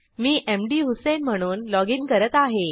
मी मधुसेईन म्हणून लॉगिन करत आहे